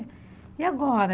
E agora?